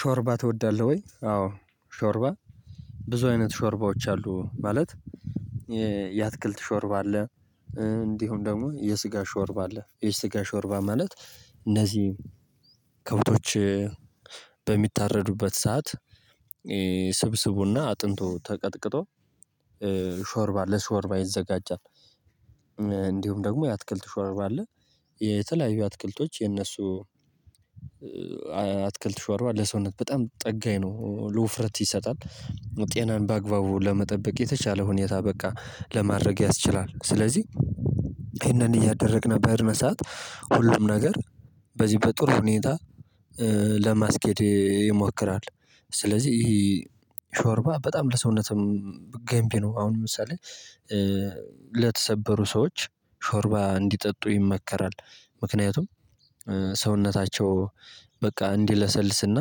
ሾርባ ትወዳለህ ወይ? አዎ ሾርባ ብዙ አይነት ሾርባዎች አሉ። ማለት የአትክልት ሾርባ አለ። እንዲሁም ደግሞ የስጋ ሾርባ አለ የስጋ ሾርባ ማለት እነዚህ ከብቶች በሚታረዱበት ሰዓት ስብስቡና አጥንቱ ተቀጥቅጦ ሾርባ ለሾርባ ይዘጋጃል። እንዲሁም ደግሞ የአትክልት ሾርባ አለ። የተለያዩ አትክልቶች የነሱ አትክልት ሾርባ ለሰውነት በጣም ጠጋኝ ነው ለውፍረት ይሰጣል። ጤናን በአግባቡ ለመጠበቅ የተቻለ ሁኔታ በቃ ለማድረግ ያስችላል። ስለዚህ ይሄንን እያደረግን በድነ ሰዓት ሁሉም ነገር በዚህ በጥሩ ሁኔታ ለማስኬድ ይሞክራል። ስለዚህ ይሄ ሾርባ በጣም ለሰውነትም ገንቢ ነው። አሁን ለምሳሌ ለተሰበሩ ሰዎች ሾርባ እንዲጠጡ ይመከራል። ምክንያቱም ሰውነታቸው በቃ እንዲለሰልስና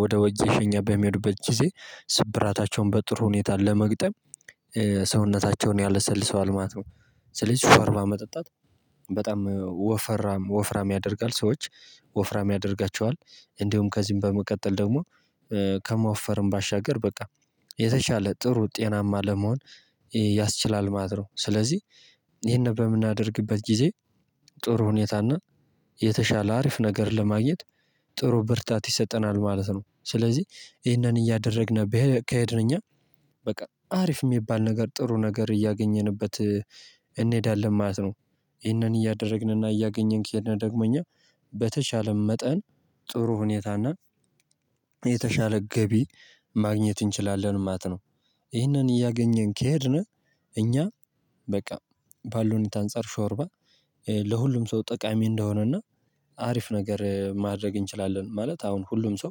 ወደ ወጄ ሸኛ በሚወድበት ጊዜ ስብራታቸውን በጥሩ ሁኔታ ለመግጠም ያለሰልሰዋል ማለት ነው። ስለዚህ ሾርባ መጠጣት በጣም ወፍራም ወፍራም ያደርጋል ሰዎች ወፍራም ያደርጋቸዋል። እንዲሁም ከዚህም በመቀጠል ደግሞ ከማወፈርም ባሻገር በቃ የተሻለ ጥሩ ጤናማ ለመሆን ያስችላል ማለት ነው። ስለዚህ ይሄን በምናደርግበት ጊዜ ጥሩ ሁኔታና የተሻለ አሪፍ ነገር ለማግኘት ጥሩ ብርታት ይሰጠናል ማለት ነው። ስለዚህ ይህንን እያደረግን ከሄድን እኛ በቃ አሪፍ የሚባል ነገር ጥሩ ነገር እያገኘንበት እንሄዳለን ማለት ነው። ይህንን እያደረግንና እያገኘን ከሄድነ ደግሞ እኛ በተቻለ መጠን ጥሩ ሁኔታና የተሻለ ገቢ ማግኘት እንችላለን ማለት ነው። ይህንን እያገኘን ከሄድን እኛ በቃ ባለው ሁኔታ አንጸር ሾርባ ለሁሉም ሰው ጠቃሚ እንደሆነና አሪፍ ነገር ማድረግ እንችላለን። ማለት አሁን ሁሉም ሰው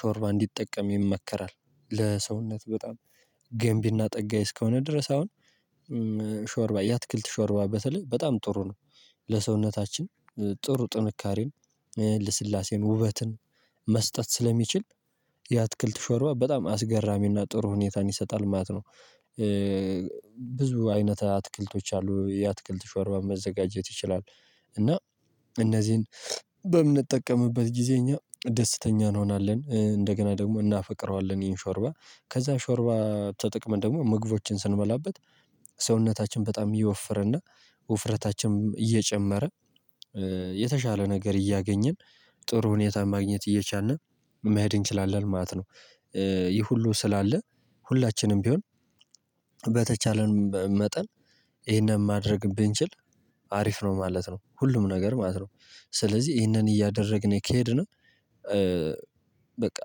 ሾርባ እንዲጠቀም ይመከራል። ለሰውነት በጣም ገንቢና ጠጋይ እስከሆነ ድረስ አሁን ሾርባ ያትክልት ሾርባ በተለይ በጣም ጥሩ ነው። ለሰውነታችን ጥሩ ጥንካሬን ለስላሴን ውበትን መስጠት ስለሚችል የአትክልት ሾርባ በጣም አስገራሚና ጥሩ ሁኔታን ይሰጣል ማለት ነው። ብዙ አይነት አትክልቶች አሉ የአትክልት ሾርባ መዘጋጀት ይችላል። እና እነዚህን በምንጠቀምበት ጊዜ እኛ ደስተኛ እንሆናለን እንደገና ደግሞ እናፈቅረዋለን። ይሄን ሾርባ ከዛ ሾርባ ተጠቅመን ደግሞ ምግቦችን ስንበላበት ሰውነታችን በጣም እየወፈረና ውፍረታችንም እየጨመረ የተሻለ ነገር እያገኘን ጥሩ ሁኔታን ማግኘት እየቻልን መሄድ እንችላለን ማለት ነው። ይህ ሁሉ ስላለ ሁላችንም ቢሆን በተቻለን መጠን ይሄንን ማድረግ ብንችል አሪፍ ነው ማለት ነው። ሁሉም ነገር ማለት ነው ስለዚህ ይሄንን እያደረግን ከሄድን በቃ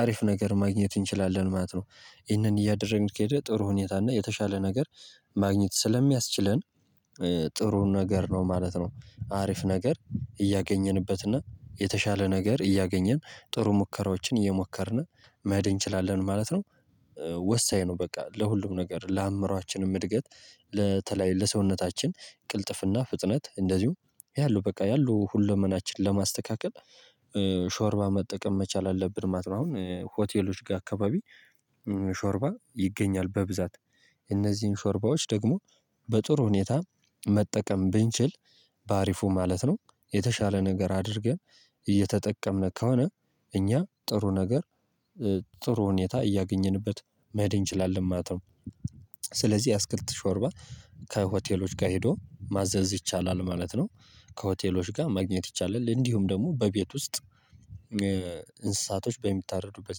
አሪፍ ነገር ማግኘት እንችላለን ማለት ነው። ይህንን እያደረግን ከሄደ ጥሩ ሁኔታ እና የተሻለ ነገር ማግኘት ስለሚያስችለን ጥሩን ነገር ነው ማለት ነው። አሪፍ ነገር እያገኘንበት እና የተሻለ ነገር እያገኘን ጥሩ ሙከራዎችን እየሞከርን መሄድጽ እንችላለን ማለት ነው። ወሳኝ ነው ነው በቃ ለሁሉም ነገር ለአምሮአችንም እድገት ለተለይ ለሰውነታችን ቅልጥፍና ፍጥነት እንደዚሁ ያለው በቃ ያለው ሁለመናችንን ለማስተካከል ሾርባ መጠቀም መቻል አለብን ማለት ነው። አሁን ሆቴሎች ጋር አካባቢ ሾርባ ይገኛል በብዛት እነዚህን ሾርባዎች ደግሞ በጥሩ ሁኔታ መጠቀም ብንችል በአሪፉ ማለት ነው። የተሻለ ነገር አድርገን እየተጠቀምን ከሆነ እኛ ጥሩ ነገር ጥሩ ሁኔታ እያገኘንበት መሄድ እንችላለን ማለት ነው። ስለዚህ የአትክልት ሾርባ ከሆቴሎች ጋር ሄዶ ማዘዝ ይቻላል ማለት ነው። ከሆቴሎች ጋር ማግኘት ይቻላል እንዲሁም ደግሞ በቤት ውስጥ እንስሳቶች በሚታረዱበት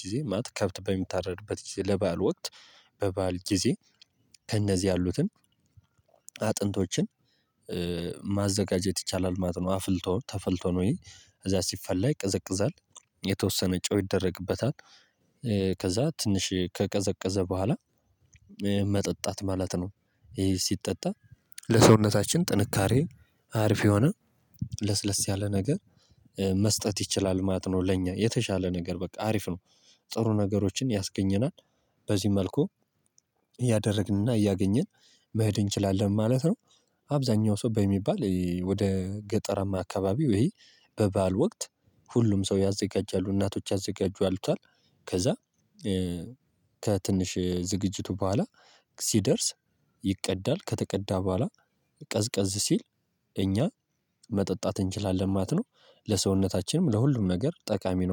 ጊዜ ማለት ከብት በሚታረዱበት ጊዜ ለባል ወቅት በባል ጊዜ ከእነዚህ ያሉትን አጥንቶችን ማዘጋጀት ይቻላል ማለት ነው። አፍልቶ ተፈልቶ ነው እዛ ሲፈላ ይቀዘቅዛል የተወሰነ ጮህ ይደረግበታል ከዛ ትንሽ ከቀዘቀዘ በኋላ መጠጣት ማለት ነው። ይሄ ሲጠጣ ለሰውነታችን ጥንካሬ አርፍ የሆነ ለስለስ ያለ ነገር መስጠት ይችላል ማጥኖ ለኛ የተሻለ ነገር በቃ አሪፍ ነው። ጥሩ ነገሮችን ያስገኘናል። በዚህ መልኩ እያደረግንና እያገኘን መሄድ እንችላለን ማለት ነው። አብዛኛው ሰው በሚባል ወደ ገጠረማ አካባቢው ይሄ በባል ወቅት ሁሉም ሰው ያዘጋጃሉ እናቶች ያዘጋጁታል ከዛ ከትንሽ ዝግጅቱ በኋላ ሲደርስ ይቅዳል ከተቀዳ በኋላ ቀዝቀዝ ሲል እኛ መጠጣት እንችላለን ማለት ነው። ለሰውነታችንም ለሁሉም ነገር ጠቃሚ ነው